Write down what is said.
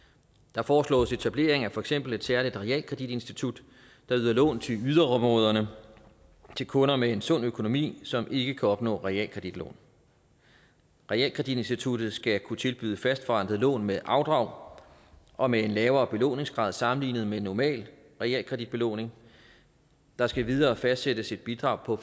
der foreslås etablering af for eksempel et særligt realkreditinstitut der yder lån til yderområderne til kunder med en sund økonomi som ikke kan opnå realkreditlån realkreditinstituttet skal kunne tilbyde fastforrentede lån med afdrag og med en lavere belåningsgrad sammenlignet med normal realkreditbelåning der skal endvidere fastsættes et bidrag på